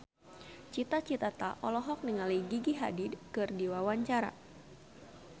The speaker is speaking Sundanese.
Cita Citata olohok ningali Gigi Hadid keur diwawancara